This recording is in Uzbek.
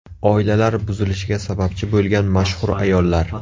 Oilalar buzilishiga sababchi bo‘lgan mashhur ayollar .